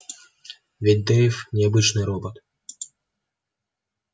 ведь дейв не обычный робот